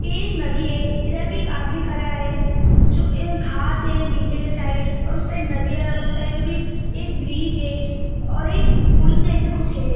ये एक नदी हैं इधर पे एक आदमी खड़ा है जो ए घास है नीचे के साइड और उस साइड नदी है उस साइड भी एक ब्रिज है और एक पुल जैसा कुछ है।